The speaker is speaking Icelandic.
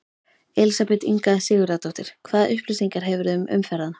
Elísabet Inga Sigurðardóttir: Hvaða upplýsingar hefurðu um umferðina?